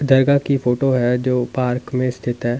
दरगाह की फोटो है जो पार्क में स्थित है।